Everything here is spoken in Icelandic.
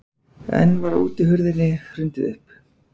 Enn var útihurðinni hrundið upp.